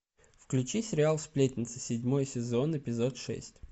включи сериал сплетница седьмой сезон эпизод шесть